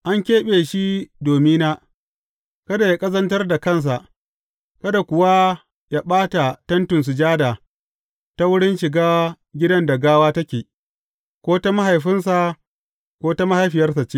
An keɓe shi domina, kada yă ƙazantar da kansa, kada kuwa yă ɓata Tentin Sujada ta wurin shiga gidan da gawa take, ko ta mahaifinsa, ko ta mahaifiyarsa ce.